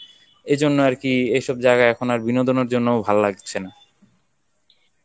এই জন্য আর কি এসব জায়গা এখন আর বিনোদনের জন্যও ভাল লাগতেছে না